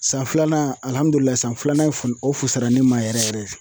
San filanan san filanan in o fusara ne ma yɛrɛ yɛrɛ yɛrɛ.